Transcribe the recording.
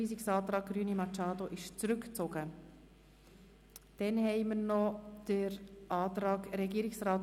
Wir stimmen noch über den obsiegenden Antrag ab.